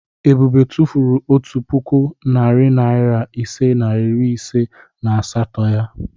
Ebube tụfuru otu puku, narị naịra ise na iri ise na asatọ ya.